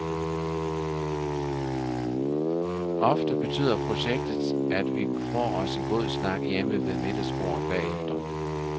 Ofte betyder projektet, at vi får os en god snak hjemme ved middagsbordet bagefter.